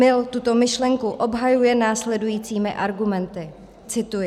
Mill tuto myšlenku obhajuje následujícími argumenty - cituji: